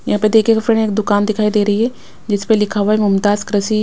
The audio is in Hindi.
यहाँ पे देखिएगा फ्रेंड एक दुकान दिखाई दे रही है जिस पे लिखा हुआ है मूमताज कृषि।